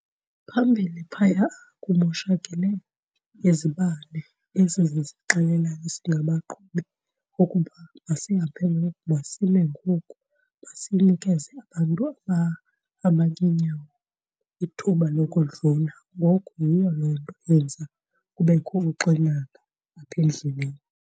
Phambili phaya kumoshakele izibane ezi ziye zixela singabaqhubi ukuba masihambe ngoku, masime ngoku, masinikeze abantu abahamba ngeenyawo ithuba lokudlula. Ngoku yiyo loo nto yenza kubekho uxinana apha endleleni.